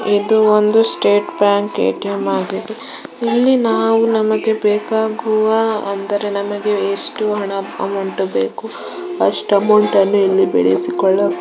ಇದೊಂದು state bank ATM. ಆಗಿದೆ ಇಲ್ಲಿ ನಾವು ನಮಗೆ ಬೇಕಾದ ಅಂದರೆ ನಮಗೆ ಎಷ್ಟು ಬೇಕೋ ಹಣ ಅಮೌಂಟ್ ಬೇಕು ಅಷ್ಟು ಅಮೌಂಟ್ ಇಲ್ಲಿ ಬಿಡಿಸಿ ಕೊಳ್ಳಬಹುದು.